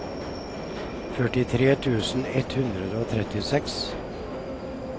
førtitre tusen ett hundre og trettiseks